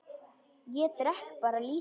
Ég drekk bara lýsi!